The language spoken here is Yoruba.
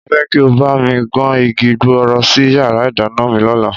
Mo fẹ́ kí ó bá mi kan igi gbọọrọ sí yàrá ìdáná mi lọ́la